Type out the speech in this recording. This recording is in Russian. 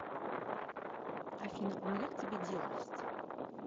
афина у меня к тебе дело есть